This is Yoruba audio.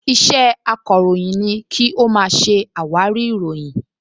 Iṣẹ́ akọ̀ròyìn ni kí ó máa ṣe àwárí ìròyìn